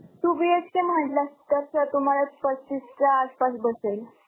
Two BHK म्हटलं तर sir तुम्हांला पस्तीसच्या आसपास बसेल.